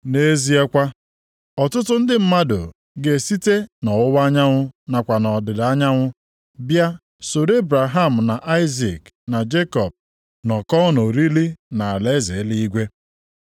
Nʼezie kwa, ọtụtụ ndị mmadụ ga-esite nʼọwụwa anyanwụ nakwa ọdịda anyanwụ bịa soro Ebraham na Aịzik na Jekọb nọkọọ nʼoriri nʼalaeze eluigwe.